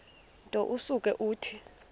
nto usuke uthi